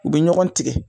U bɛ ɲɔgɔn tigɛ